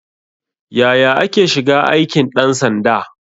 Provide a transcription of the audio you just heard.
Yaya ake shiga aikin ɗan sanda?